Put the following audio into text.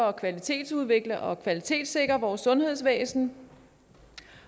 at kvalitetsudvikle og kvalitetssikre vores sundhedsvæsen